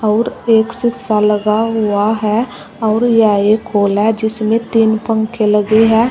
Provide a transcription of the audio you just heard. और एक शीशा लगा हुआ है। और यह एक हॉल है जिसमें तीन पंखे लगे हैं।